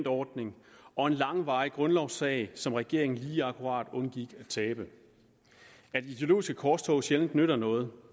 ordning og en langvarig grundlovssag som regeringen lige akkurat undgik at tabe at ideologiske korstog sjældent nytter noget